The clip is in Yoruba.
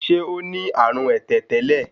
Ṣé ó ní àrùn ẹ̀tẹ̀ tẹ́lẹ̀?